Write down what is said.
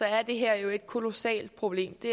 er det her jo et kolossalt problem det